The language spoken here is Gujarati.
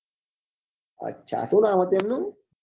એ અચ્છા શું નામ હતું એમનું